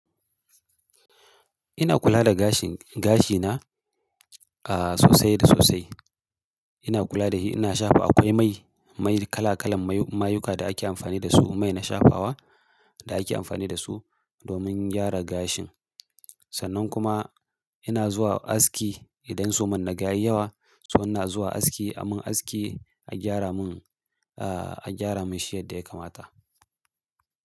Ina kula da gashin-gashi na, aah, sosai da sosai. Ina kula da shi, ina shafa. Akwai mai-mai kala-kalan mayu-mayuka da ake amfani da su, mai na shafawa da ake amfani da su domin gyara gashin. Sannan kuma ina zuwa aski idan suman naga yawa, sannan na zuwa aski a mun aski a gyara mun, aah, a gyara mun shi yadda ya kamata.